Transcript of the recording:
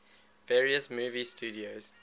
various movie studios